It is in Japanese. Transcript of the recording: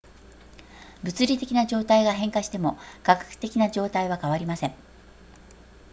物理的な状態が変化しても化学的な状態は変わりません